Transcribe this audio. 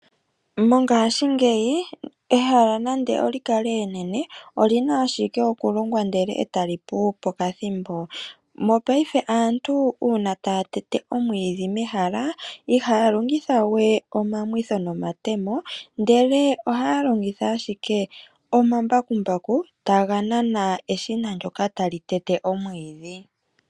Mongashingeyi ehala nande olyi kale enene olina ashike kulongwa etali pu pokathimbo. Mopaife uuna aantu taya tete omwiidhi mehala ihaya longitha we omamwitho nomatemo ihe ohaya longitha embakumbaku ndyoka tali nana eshina